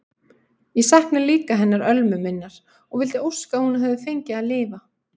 Ég sakna líka hennar Ölmu minnar og vildi óska að hún hefði fengið að lifa.